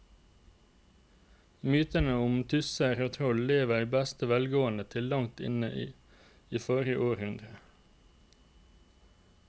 Mytene om tusser og troll levde i beste velgående til langt inn i forrige århundre.